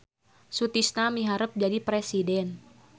Sutisna miharep jadi presiden